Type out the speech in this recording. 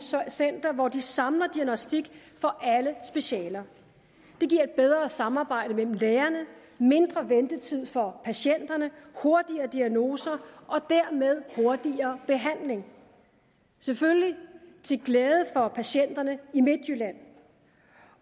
center hvor de samler diagnostik for alle specialer det giver et bedre samarbejde mellem lægerne mindre ventetid for patienterne hurtigere diagnoser og dermed hurtigere behandling selvfølgelig til glæde for patienterne i midtjylland